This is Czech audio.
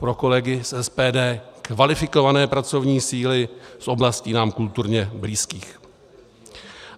Pro kolegy z SPD: kvalifikované pracovní síly z oblastí nám kulturně blízkých.